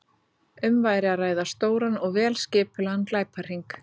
Um væri að ræða stóran og vel skipulagðan glæpahring.